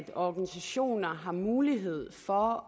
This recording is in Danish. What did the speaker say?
at organisationer har mulighed for